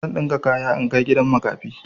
Zan ɗinka kaya in kai gidan makafi.